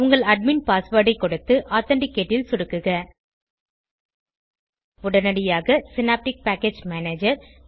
உங்கள் admin password ஐ கொடுத்து ஆதென்டிகேட் ல் சொடுக்குக உடனடியாக சினாப்டிக் பேக்கேஜ் மேனேஜர்